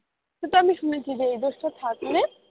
কিন্তু আমি শুনেছি যে এই দোষটা থাকলে,